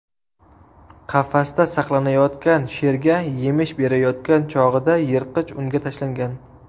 qafasda saqlanayotgan sherga yemish berayotgan chog‘ida yirtqich unga tashlangan.